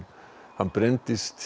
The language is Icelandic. hann brenndist